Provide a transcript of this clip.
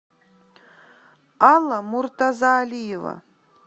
алла муртазалиева